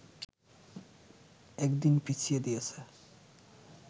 একদিন পিছিয়ে দিয়েছে